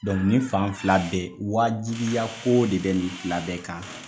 Dɔnku nin fan fila bɛ wajibiya kow de bɛ nin fila bɛɛ kan